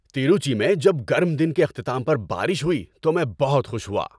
تروچی میں جب گرم دن کے اختتام پر بارش ہوئی تو میں بہت خوش ہوا۔